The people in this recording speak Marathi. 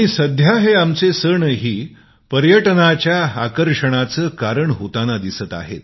सध्या हे आमचे सण ही पर्यटनाच्या आकर्षणाचे कारण होताना दिसत आहेत